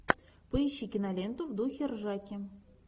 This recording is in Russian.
поищи киноленту в духе ржаки